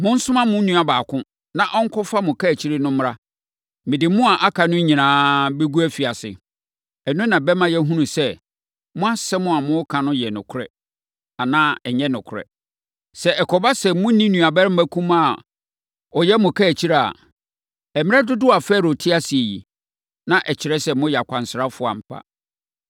Monsoma mo mu baako, na ɔnkɔfa mo kaakyire no mmra. Mede mo a moaka no nyinaa bɛgu afiase. Ɛno na ɛbɛma yɛahunu sɛ, mo asɛm a moreka no yɛ nokorɛ anaa ɛnyɛ nokorɛ. Sɛ ɛkɔba sɛ monni nuabarima kumaa a ɔyɛ mo kaakyire a, mmerɛ dodoɔ a Farao te ase yi, na ɛkyerɛ sɛ moyɛ akwansrafoɔ ampa!”